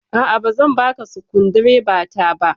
A'a, ba zan baka sukundibata ba.